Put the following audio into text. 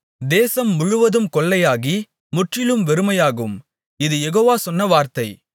தேசம் முழுவதும் கொள்ளையாகி முற்றிலும் வெறுமையாகும் இது யெகோவா சொன்ன வார்த்தை